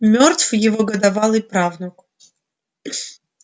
мёртв его годовалый правнук